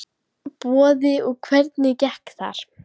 Boði: Og hvernig gekk þar?